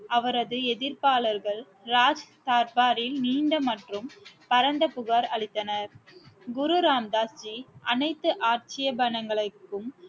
அவரது எதிர்ப்பாளர்கள் ராஜ் தார்பாரில் நீண்ட மற்றும் பரந்த புகார் அளித்தனர் குரு ராம் தாஸ் ஜி அனைத்து ஆட்சேபணைகளுக்கும்